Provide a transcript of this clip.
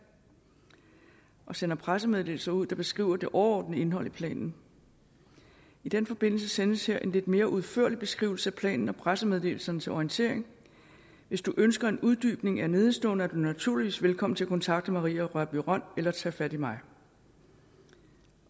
og sender pressemeddelelser ud der beskriver det overordnede indhold i planen i den forbindelse sendes her en lidt mere udførlig beskrivelse af planen og pressemeddelelserne til orientering hvis du ønsker en uddybning af nedenstående er du naturligvis velkommen til at kontakte maria rørbye rønn eller tage fat i mig